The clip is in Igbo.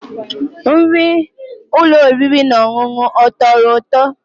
Nri ụlọ oriri na ọṅụṅụ ọ tọrọ ụtọ?